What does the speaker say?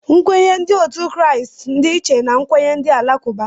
Nkwenye ndị Kraịst dị iche na nkwenye ndị Alakụba